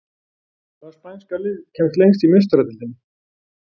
Hvaða spænska lið kemst lengst í Meistaradeildinni?